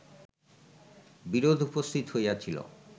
বিরোধ উপস্থিত হইয়াছিল